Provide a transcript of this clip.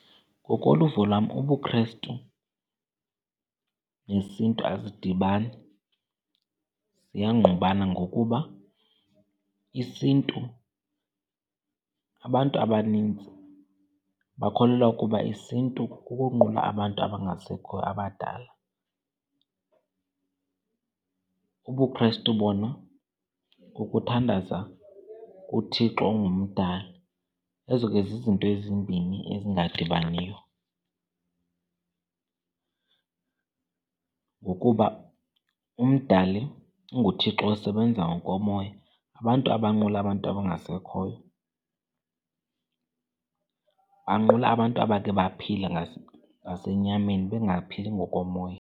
Ngokoluvo lwam, ubuKrestu nesiNtu azidibani. Ziyangqubana ngokuba isiNtu, abantu abanintsi bakholelwa ukuba isiNtu kukunqula abantu abangasekhoyo abadala, ubuKrestu bona kukuthandaza kuThixo onguMdali. Ezo ke zizinto ezimbini ezingadibaniyo. Ngokuba uMdali unguThixo osebenza ngokomoya, abantu abanqula abantu abangasekhoyo banqula abantu abakhe baphila ngasenyameni bengaphili ngokomoya.